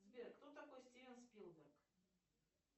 сбер кто такой стивен спилберг